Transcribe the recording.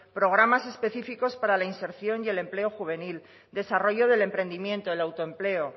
programas específicos para la inserción y el empleo juvenil desarrollo del emprendimiento el autoempleo